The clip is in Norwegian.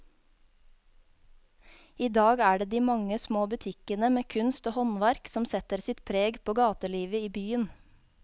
I dag er det de mange små butikkene med kunst og håndverk som setter sitt preg på gatelivet i byen.